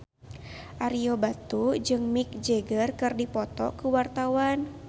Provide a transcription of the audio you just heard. Ario Batu jeung Mick Jagger keur dipoto ku wartawan